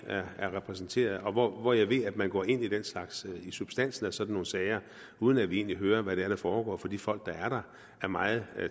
er repræsenteret og hvor hvor jeg ved at man går ind i substansen af sådan nogle sager uden at vi egentlig hører hvad det er der foregår for de folk der er der er meget